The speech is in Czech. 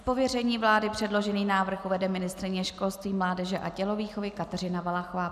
Z pověření vlády předložený návrh uvede ministryně školství, mládeže a tělovýchovy Kateřina Valachová.